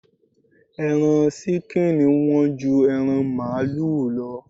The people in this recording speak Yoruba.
Ẹran ṣíkìnì Wọ́n ju ẹran màlúù lọ